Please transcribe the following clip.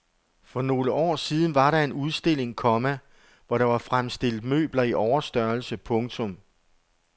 For nogle år siden var der en udstilling, komma hvor der var fremstillet møbler i overstørrelse. punktum